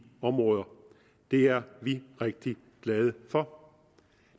områder det er vi rigtig glade for